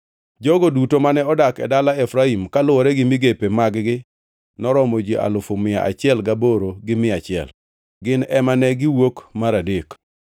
Jogo duto mane odak e dala Efraim, kaluwore gi migepe mag-gi noromo ji alufu mia achiel gaboro gi mia achiel (108,100). Gin ema ne giwuok mar adek.